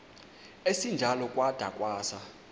esinjalo kwada kwasa